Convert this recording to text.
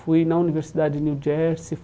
Fui na Universidade de New Jersey.